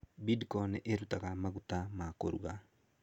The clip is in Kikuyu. Bidco nĩ ĩrutaga maguta ma kũruga.